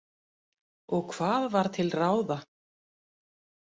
Og hvað var til ráða?